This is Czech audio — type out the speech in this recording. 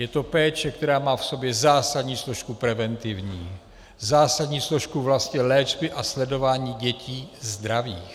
Je to péče, která má v sobě zásadní složku preventivní, zásadní složku vlastně léčby a sledování dětí zdravých.